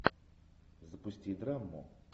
запусти драму